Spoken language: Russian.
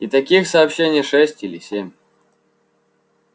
и таких сообщений шесть или семь